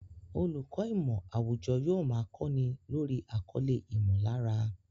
Olùkọ́ ìmọ̀ àwùjọ yóò máa kọ́ni lórí àkọlé "ìmọ̀lára"